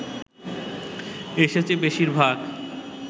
এসেছে বেশিরভাগ